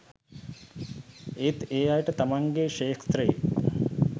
ඒත් ඒ අයට තමන්ගෙ ක්ෂෙත්‍රයෙ